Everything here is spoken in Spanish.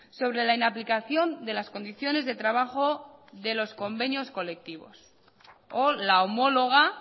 sobre la inaplicación de las condiciones de trabajo de los convenios colectivos o la homóloga